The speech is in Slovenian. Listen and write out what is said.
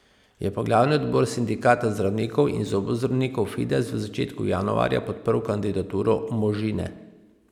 Je pa glavni odbor sindikata zdravnikov in zobozdravnikov Fides v začetku januarja podprl kandidaturo Možine.